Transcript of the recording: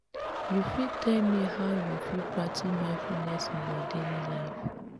you fit tell me how you fit practice mindfulness in your daily life?